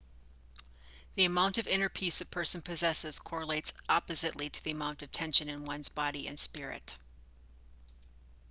the amount of inner peace a person possesses correlates oppositely to the amount of tension in one's body and spirit